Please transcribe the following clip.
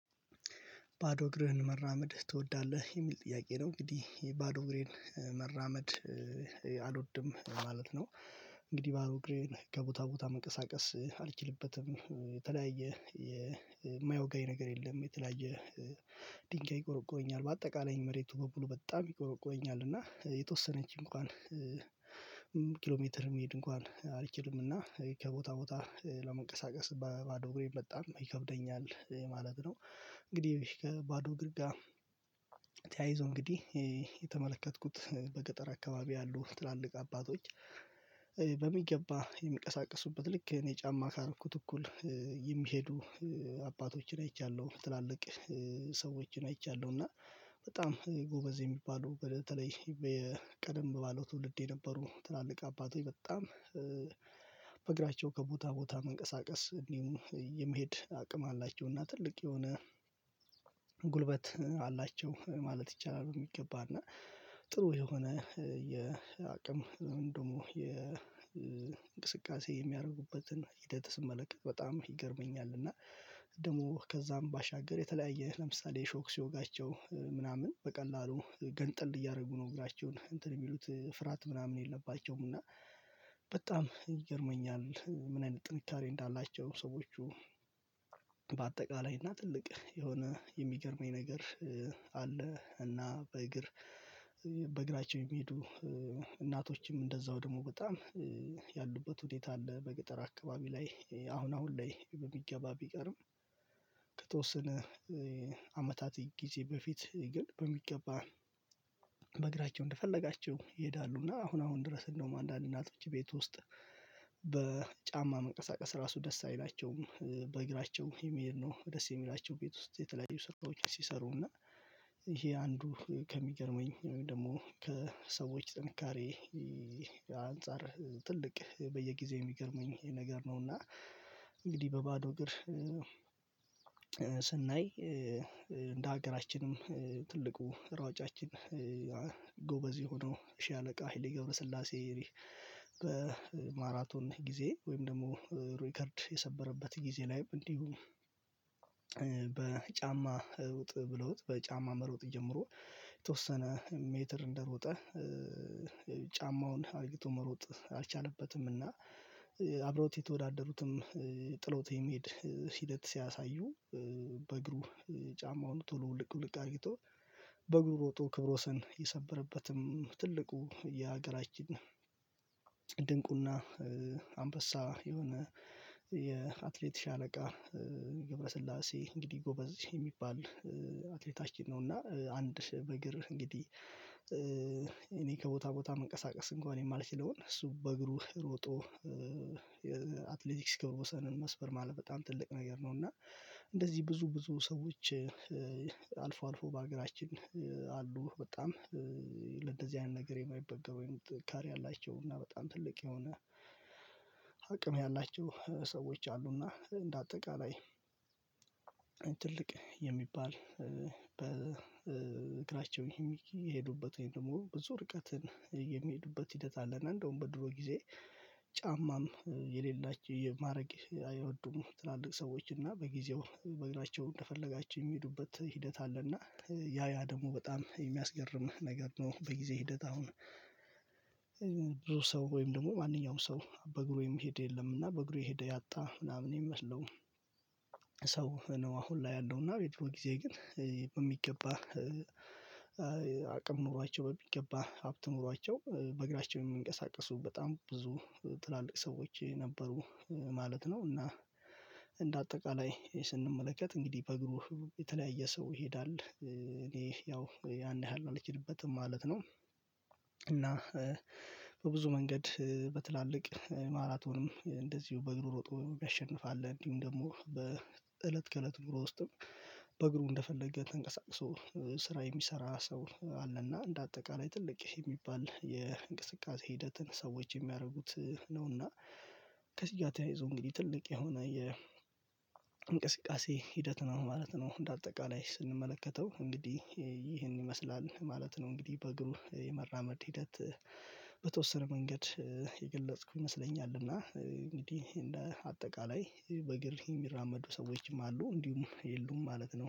ባዶ እግህን መራመድ ትወዳለህ የሚል ጥያቄ ነው? እንግዲህ ባዶ እግሬን መራመድ እኔ አልወድም ማለት ነው። እንግዲህ ባዶ እግሬን ከቦታ ቦታ መቀሳቀስ አልችልበትም የተለያየ የማይወጋኝ ነገር የለም። የተለያየ ድንጋይ ይቆረቁረኛል በአጠቃላይ መሬቱ በሙሉ በጣም ይቆረቆየኛል እና የተወሰነች እንኳን ኪሎ ሜትር የሚሄድ እንኳን አልችልም። እና ከቦታ ቦታ ለመንቀሳቀስ ባዶ እግሬ በጣም ይከብደኛል የማለት ነው። እንግዲህ ከባዶ እግር ጋ ተያይዞ እንግዲህ የተመለከትኩት በገጠር አካባቢ ያሉ ትላልቅ አባቶች በሚገባ የሚቀሳቀሱበት ልክ እኔ ጫማ ካረኩት እኩል የሚሄዱ አባቶችን አይቻለሁ። ትላልቅ ሰዎችን አይቻለሁ እና በጣም ጎበዝ የሚባሉ በተለይ ቀደም ባለው ትውልድ የነበሩ ትላልቅ አባት ወይ በጣም ከቦታ ቦታ መንቀሳቀስ እንዲሁም የመሄድ አቅም አላቸውና ትልቅ የሆነ ጉልበት አላቸው ማለት ይቻላል። በሚገባና ጥሩ የሆነ የአቅም ደግሞ የእንቅስቃሴ የሚያደርጉበትን ሂደት ስመለከት በጣም ይገርመኛል። እና ደግሞ ከዛም ባሻገር የተለያየ ለምሳሌ እሾክ ሲወጋቸው ምናምን በቀላሉ ገንጠል እያደረጉ ነው እግራቸውን እንትን የሚሉት ፍርሃት ምናምን የለባቸውም እና በጣም ይገርመኛል። ምን አይነት ጥንካሬ እንዳላቸው ሰዎች በአጠቃላይ እና ትልቅ የሆነ የሚገርመኝ ነገር አለ። እና በእግር በእግራቸው የሚሄዱ እናቶችም እንደዛው ደግሞ በጣም ያሉበት ውሀት አለ በገጠር አካባቢ ላይ አሁን አሁን ላይ በሚገባ ቢቀርም። ከተወሰነ አመታት ጊዜ በፊት ግን በሚገባ እንደፈለጋቸው ይሄዳሉ እና አሁን አሁን ድረስ እንደውም አንዳንድ እናቶች ቤት ውስጥ በጫማ መንቀሳቀስ ራሱ ደስ አይላቸውም በእግራቸው የሚሄድ ነው። ደስ የሚላቸው ቤት ውስጥ የተለያዩ ስራዎች ሲሰሩ እና ይሄ አንዱ ከሚገርመኝ ወይም ደግሞ ከሰዎች ጥንካሬ አንፃር ትልቅ በየጊዜው የሚገርመኝ ይሄ ነገር ነውና። እንግዲህ በባዶ እግር ስናይ እንደ ሀገራችንም ትልቁ ሯጫችን ጎበዝ የሆነው ሺህ አለቃ ሄሌ ገብረስላሴ በማራቶን ጊዜ ወይም ደግሞ ሪከርድ የሰበረበት ጊዜ ላይ እንዲሁም በጫማ ሩጥ ብሎት በጫማ መሮጥ ጀምሮ የተወሰነ ሜትር እንደሮጠ ጫማውን አድርገው መሮጥ አልቻለበትምና አብረውት የተወዳደሩትም ጥሎት የሚሄድ ሂደት ሲያሳዩ በእግሩ ጫማውን ቶሎ ልቅ ልቅ አድርጊቶ በእግሩ ሮጦ ክብረ ወሰን የሰበረበትም ትልቁ የሀገራችን ድንቁና አንበሳ የሆነ የአትሌት ሻለቃ ገብረስላሴ እንግዲህ ጎበዝ የሚባል አትሌታችን ነው። እና አንድ በእግር እንግዲህ እኔ ከቦታ ቦታ እንንቀሳቀስ እንኳን የማልችለውን እሱ በእግሩ ሮጦ አትሌቲክስ ክብር ወሰንን መስፈር ማለት በጣም ትልቅ ነገር ነው። እና እንደዚህ ብዙ ብዙ ሰዎች አልፎ አልፎ በሀገራችን አሉ። በጣም ለእንደዚህ አይነት ነገር የማይበገር ወይም ትካር ያላቸው እና በጣም ትልቅ የሆነ አቅም ያላቸው ሰዎች አሉና። እንደ አጠቃላይ ትልቅ የሚባል በእግራቸው የሚሄዱበት ወይም ደግሞ ብዙ ርቀትን የሚሄዱበት ሂደት አለና እንደውም በድሮ ጊዜ ጫማም የሌላችሁ የማድረግ አይወዱም ትላልቅ ሰዎች እና በጊዜው በእግናቸው እንደፈለጋቸው የሚሄዱበት ሂደት አለ። እና ያ ያ ደግሞ በጣም የሚያስገርም ነገር ነው። በጊዜ ሂደት አሁን ብዙ ሰው ወይም ደግሞ ማንኛውም ሰው በእግሩ የሚሄድ የለም በእግሩ የሄደ ያጣ ምናምን ይመስለው። ሰው ነው አሁን ላይ ያለውና ቤቱ በጊዜ ግን በሚገባ አቅም ኖሯቸው በሚገባ ሀብት ኖሯቸው በእግራቸው የሚንቀሳቀሱ በጣም ብዙ ትላልቅ ሰዎች ነበሩ ማለት ነው። እና እንደ አጠቃላይ ስንመለከት እንግዲህ በእግሩ የተለያየ ሰው ይሄዳል እኔ ያው ያን ያህል አልችልበትም ማለት ነው። እና በብዙ መንገድ በትላልቅ ማራቶንም እንደዚሁ በእግሩ ሮጦ ያሸንፋል እንዲሁም ደግሞ በእለት ከእለት ኑሮ ውስጥም በእግሩ እንደፈለገ ተንቀሳቅሶ ስራ የሚሰራ ሰው አለና እንደ አጠቃላይ ትልቅ የሚባል የእንቅስቃሴ ሂደትን ሰዎች የሚያደርጉት ነውና። ከዚህ ጋር ያይዞ እንግዲህ ትልቅ የሆነ የ ሂደት ነው ማለት ነው። እንደ አጠቃላይ ስንመለከተው እንግዲህ ይህን ይመስላል ማለት ነው። እንግዲህ በግብ የመራመድ ሂደት በተወሰነ መንገድ የገለጽኩ ይመስለኛል። እና እንግዲህ እንደ ጠቃላይ በእግር የሚራመዱ ሰዎችም አሉ እንዲሁም የሉም ማለት ነው